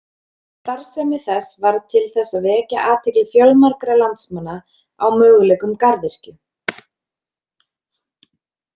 Starfsemi þess varð til þess að vekja athygli fjölmargra landsmanna á möguleikum garðyrkju.